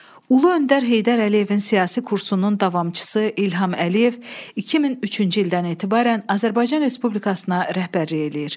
Ulu Öndər Heydər Əliyevin siyasi kursunun davamçısı İlham Əliyev 2003-cü ildən etibarən Azərbaycan Respublikasına rəhbərlik eləyir.